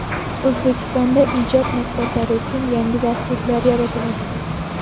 O‘zbekistonda ijod maktablari uchun yangi darsliklar yaratiladi.